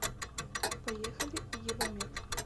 поехали евамед